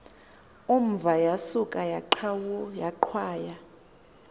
umva yasuka yaqhwaya